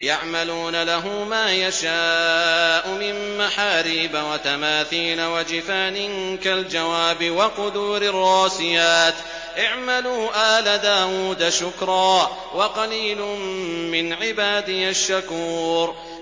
يَعْمَلُونَ لَهُ مَا يَشَاءُ مِن مَّحَارِيبَ وَتَمَاثِيلَ وَجِفَانٍ كَالْجَوَابِ وَقُدُورٍ رَّاسِيَاتٍ ۚ اعْمَلُوا آلَ دَاوُودَ شُكْرًا ۚ وَقَلِيلٌ مِّنْ عِبَادِيَ الشَّكُورُ